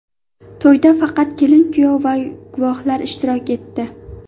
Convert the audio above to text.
To‘yda faqat kelin-kuyov va guvohlar ishtirok etdi.